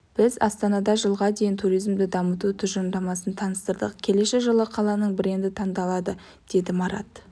біз астанада жылға дейін туризмді дамыту тұжырымдамасын таныстырдық келесі жылы қаланың бренді таңдалады деді марат